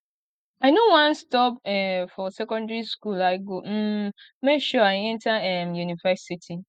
i no wan stop um for secondary school i go um make sure i enter um university